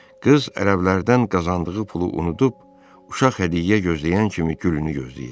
Qız ərəblərdən qazandığı pulu unudub, uşaq hədiyyə gözləyən kimi gülünü gözləyirdi.